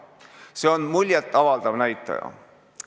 See on muljet avaldav näitaja.